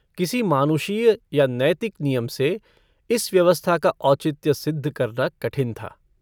किसी मानुषीय या नैतिक नियम से इस व्यवस्था का औचित्य सिद्ध करना कठिन था।